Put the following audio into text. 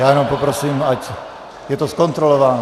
Já jenom poprosím, ať je to zkontrolováno.